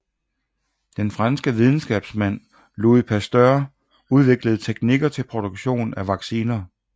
Den franske videnskabsmand Louis Pasteur udviklede teknikker til produktion af vacciner